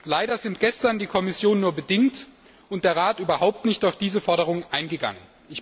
Leider sind gestern die Kommission nur bedingt und der Rat überhaupt nicht auf diese Forderung eingegangen.